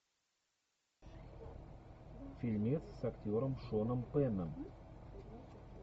фильмец с актером шоном пенном